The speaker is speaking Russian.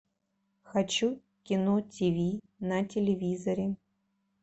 хочу кино тиви на телевизоре